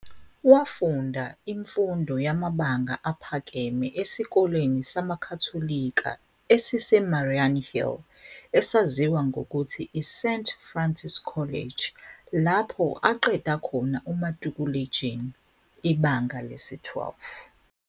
Wafunda imfundo yamabanga aphakeme esikoleni samaKhatholika esiseMariannhill esaziwa ngokuthi iSt Francis College, lapho aqeda khona umatikuletsheni, ibanga le-12.